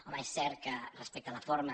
home és cert que respecte a la forma